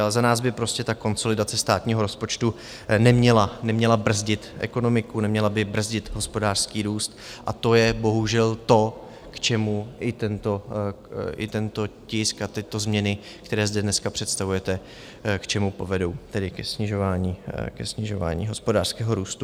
Ale za nás by prostě ta konsolidace státního rozpočtu neměla brzdit ekonomiku, neměla by brzdit hospodářský růst, a to je bohužel to, k čemu i tento tisk a tyto změny, které zde dneska představujete, k čemu povedou, tedy ke snižování hospodářského růstu.